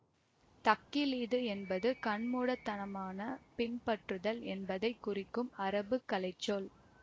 தக்லீது என்பது கண்மூடித்தனமாகப் பின்பற்றுதல் என்பதை குறிக்கும் அரபுக் கலைச்சொல்